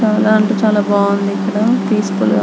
చానా అంటే చానా బాగుంది. ఇక్కడ పీసెఫుల్ గ --